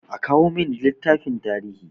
A kawo min littafin tarihi!